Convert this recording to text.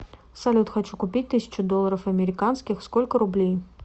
салют хочу купить тысячу долларов американских сколько рублей